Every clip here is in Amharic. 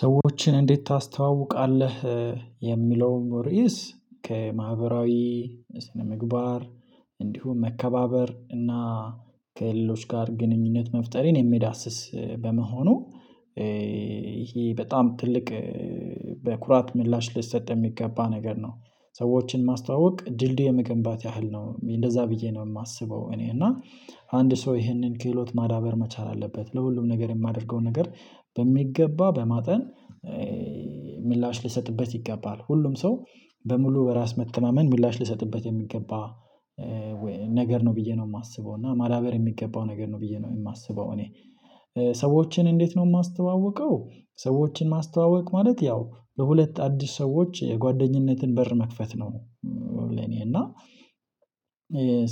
ሰዎችን እንዴት ታስተዋውቃለህ የሚለውን ሪዕስ ከማህበራዊ ስነምግባር እንዲሁም መከባበር እና ከሌሎች ጋር ግንኙነት መፍጠር የሚዳስስ በመሆኑ ይሄ በጣም ትልቅ በኩራት ምላሽ ሊሰጥ የሚገባ ነገር ነው ሰዎችን ማስተዋወቅ ድልድይ የመገንባት ያህል ነው እንደዛ ብዬ ነው የማስበው እኔ እና አንድ ሰው ይሄንን ክህሎት ማዳበር መቻል አለበት ለሁሉም ነገር የማደርገው ነገር በሚገባ በማጠን ምላሽ ልሰጥበት ይገባ፤ ሁሉም ሰው በሙሉ በራስ መተማመን ምላሽ ልሰጥበት የሚገባ ነገር ነው ብዬ ነው የማስበው እና ማዳበር የሚገባው ነገር ነው ብዬ ነው የማስበው እኔ ሰዎችን እንዴት ነው የማስተዋውቀው ሰዎችን ማስተዋወቅ ማለት ያው በሁለት አዲስ ሰዎች የጓደኝነትን በር መክፈት ነው ለኔ እና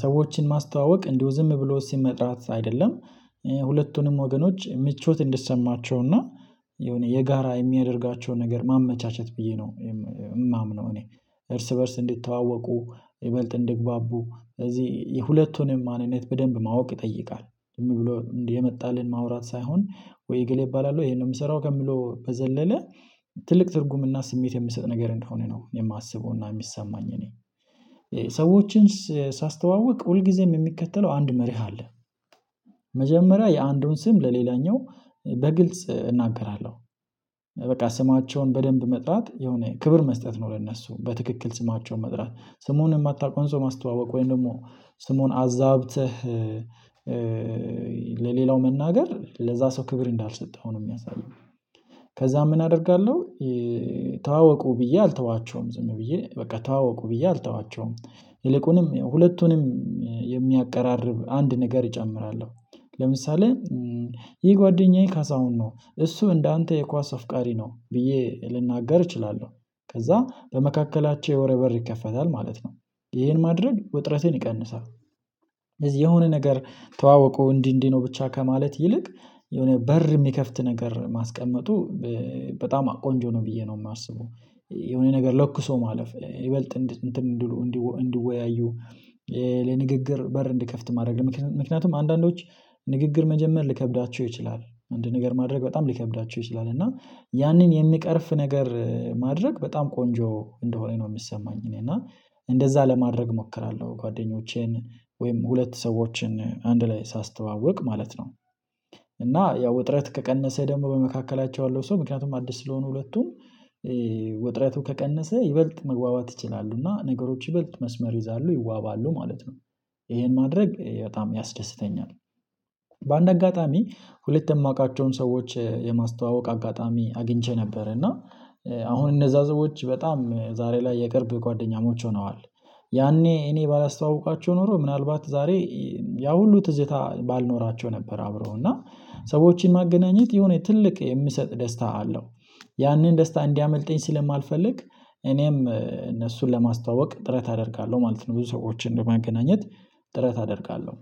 ሰዎችን ማስተዋወቅ እንዲሁ ዝም ብሎ ሲመ መጥራት አይደለም ሁለቱንም ወገኖች ምቾት እንድሰማቸው እና የሆነ የጋራ የሚያደርጋቸውን ነገር ማመቻቸት ብዬ ነው የማምነው እኔ፤ እርስ በእርስ እንዲተዋወቁ ይበልጥ እንዲግባቡ ስለዚህ የሁለቱንም ማንነት በደንብ ማወቅ ይጠይቃል፤ ዝም ብሎ እንዲህ የመጣልን ማውራት ሳይሆን ወይ እገሌ እባላለሁ ይሄንን የምሰራው ከምለው በዘለለ ትልቅ ትርጉምና ስሜት የምሰጥ ነገር እንደሆነ ነው የማስበውና የሚሰማኝ እኔ ሰዎችን ሳስተዋውቅ ሁል ጊዜም የሚከተለው አንድ መርህ አለ መጀመሪያ የአንዱን ስም ለሌላኛው በግልጽ እናገራለሁ፤ በቃ ስማቸውን በደንብ መጥራት የሆነ ክብር መስጠት ነው ለእነሱ በትክክል ስማቸውን መጥራት፤ ስሙን የማታውቀውን ሰው ማስተዋወቅ ወይም ደግሞ ስሙን አዛብተህ ለሌላው መናገር ለዛ ሰው ክብር እንዳልሰጠው ነው የሚያሳየው ከዛ ምን አደርጋለሁ ተዋወቁ ብዬ አልተዋቸውም ዝም ብዬ በቃ ታወቁ ብዬ አልተዋቸውም ይልቁንም ሁለቱንም የሚያቀራርብ አንድ ነገር እጨምራለሁ ለምሳሌ ይሄ ጓደኛዬ ካሳውን ነው እሱ እንዳንተ የኳስ አፍቃሪ ነው ብዬ ልናገር እችላለሁ፤ ከዛ በመካከላቸው የወሬ በር ይከፈታል ማለት ነው፤ ይሄን ማድረግ ውጥረትን ይቀንሳል። የሆነ ነገር ተዋወቁ እንዲህ እንዲህ ነው ብቻ ከማለት ይልቅ የሆነ በር የሚከፍት ነገር ማስቀመጡ በጣም ቆንጆ ነው ብዬ ነው የማስበ፤ የሆነ ነገር ለኩሶ ማለፍ ይበልጥ እንድወያዩ ለንግግር በር እንድከፍት ማድረግ፤ ምክንያቱም አንዳንዶች ንግግር መጀመር ልከብዳቸው ይችላል አንድ ነገር ማድረግ በጣም ሊከብዳቸው ይችላል እና ያንን የሚቀርፍ ነገር ማድረግ በጣም ቆንጆ እንደሆነ ነው የሚሰማኝ እኔ እና እንደዛ ለማድረግ እሞክራለሁ፤ ጓደኞቼን ወይም ሁለት ሰዎችን አንድ ላይ ሳስተዋውቅ ማለት ነው። እና ያው ውጥረት ከቀነሰ ደግሞ በመካከላቸው ያለው ሰው ምክንያቱም አዲስ ስለሆኑ ሁለቱም ወጥረቱ ከቀነሰ ይበልጥ መግባባት ይችላሉና ነገሮች ይበልጥ መስመር ይይዛሉ፤ ይዋባሉ ማለት ነው ይሄን ማድረግ በጣም ያስደስተኛል። በአንድ አጋጣሚ ሁለት የማውቃቸውን ሰዎች የማስተዋወቅ አጋጣሚ አግኝቼ ነበር እና አሁን እነዛ ዘቦች በጣም ዛሬ ላይ የቅርብ ጓደኛሞች ሆነዋል፤ ያኔ እኔ ባላስተዋውቃቸው ኖሮ ምናልባት ዛሬ ያ ሁሉ ትዝታ ባልኖራቸው ነበር አብረው እና ሰዎችን ማገናኘት የሆነ ትልቅ የምሰጥ ደስታ አለው፤ ያንን ደስታ እንዲያመልጠኝ ስለማልፈልግ እኔም እነሱን ለማስታወቅ ጥረት አደርጋለሁ ማለት ነው፤ ብዙ ሰዎችን በማገናኘት ጥረት አደርጋለሁ፤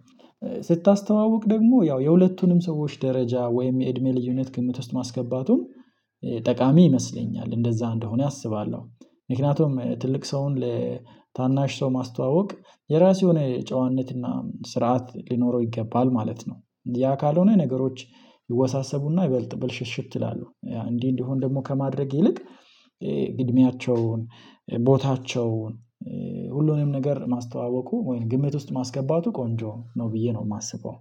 ስታስተዋውቅ ደግሞ ያው የሁለቱንም ሰዎች ደረጃ ወይም የእድሜ ልዩነት ግምት ውስጥ ማስገባቱን ጠቃሚ ይመስለኛል እንደዛ እንደሆነ አስባለሁ፤ ምክንያቱም ትልቅ ሰውን ለታናሽ ሰው ማስተዋወቅ የራስ የሆነ ጨዋነትና ስርዓት ሊኖረው ይገባል ማለት ነው፤ ያ ካልሆነ ነገሮች ይወሳሰቡና ይበልጥ ብልሽሽት ይላሉ እንዲህ እንዲህ እንደሆን ደግሞ ከማድረግ ይልቅ እድሜያቸውን። ቦታቸውን ሁሉንም ነገር ማስተዋወቁ ወይም ግምት ውስጥ ማስገባቱ ቆንጆ ነው ብዬ ነው የማስበው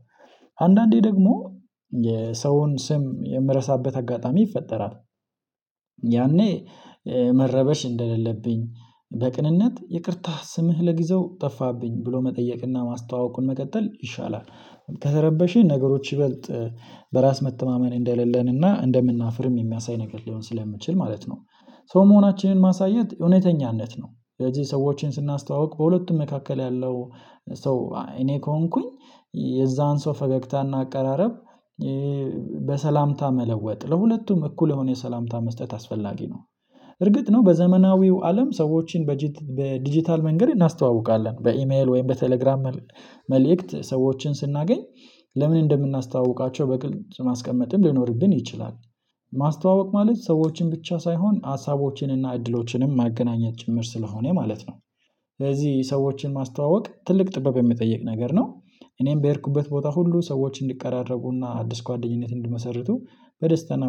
አንዳንዴ ደግሞ የሰውን ስም የምረሳበት አጋጣሚ ይፈጠራል። ያኔ መረበሽ እንደሌለብኝ በቅንነት ይቅርታ ስምህ ለግዘው ጠፋብኝ ብሎ መጠየቅና ማስተዋወቁን መቀጠል ይሻላል፤ ከተረበሽኝ ነገሮች ይበልጥ በራስ መተማመን እንደሌለንና እንደምናፍርም የሚያሳይ ነገር ሊሆን ስለምችል ማለት ነው፤ ሰው መሆናችንን ማሳየት እውነተኛነት ነው፤ ስለዚህ ሰዎችን ስናስተዋውቅ በሁለቱም መካከል ያለው ሰው እኔ ከሆንኩኝ የዛን ሰው ፈገግታና አቀራረብ በሰላምታ መለወጥ ለሁለቱም እኩል የሆነ የሰላምታ መስጠት አስፈላጊ ነው፤ እርግጥ ነው በዘመናዊው አለም ሰዎችን በዲጂታል መንገድ እናስተዋውቃለን በኢሜል ወይም በቴሌግራም መልእክት ሰዎችን ስናገኝ ለምን እንደምናስተዋውቃቸው በግልጽ ማስቀመጥም ሊኖርብን ይችላል፤ ማስተዋወቅ ማለት ሰዎችን ብቻ ሳይሆን ሀሳቦችን እና እድሎችንም ማገናኘት ጭምር ስለሆነ ማለት ነው፤ ስለዚህ ሰዎችን ማስተዋወቅ ትልቅ ጥበብ የሚጠይቅ ነገር ነው እኔም በሄድኩበት ቦታ ሁሉ ሰዎች እንዲቀራረቡና አዲስ ጓደኝነት እንዲመሰርቱ በደስታ እና